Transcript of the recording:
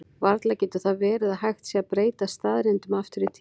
Varla getur það verið að hægt sé að breyta staðreyndum aftur í tímann?